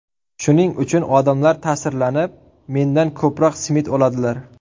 Shuning uchun odamlar ta’sirlanib, mendan ko‘proq simit oladilar.